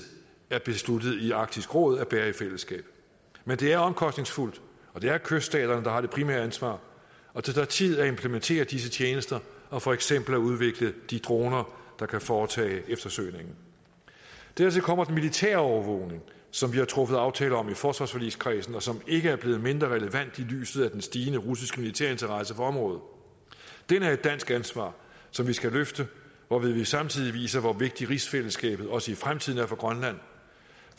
er besluttet i arktisk råd at bære i fællesskab men det er omkostningsfuldt det er kyststaterne der har det primære ansvar og det tager tid at implementere disse tjenester og for eksempel at udvikle de droner der kan foretage eftersøgning dertil kommer den militære overvågning som vi har truffet aftale om i forsvarsforligskredsen og som ikke er blevet mindre relevant i lyset af den stigende russiske militære interesse for området den er et dansk ansvar som vi skal løfte hvorved vi samtidig viser hvor vigtigt rigsfællesskabet også i fremtiden er for grønland